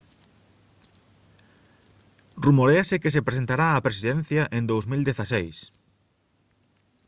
rumoréase que se presentará á presidencia en 2016